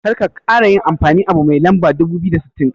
Karka kara yin amfani abu mai lamba dubu biyu da sittin.